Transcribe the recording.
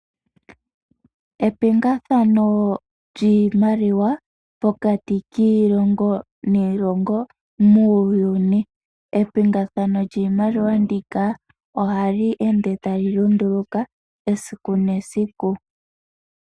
Epingathano lyiimaliwa pokati kiilongo niilongo muuyuni. Epingathano lyiimaliwa ndika ohali ende tali lunduluka esiku nesiku.